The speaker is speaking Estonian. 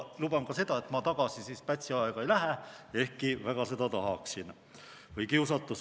Luban ka seda, et ma Pätsi aega tagasi ei lähe, ehkki väga seda tahaksin.